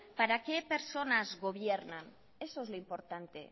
para qué personas gobiernan eso es lo importante